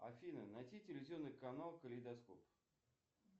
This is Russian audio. афина найти телевизионный канал калейдоскоп